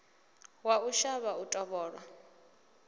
wa u shavha u tovholwa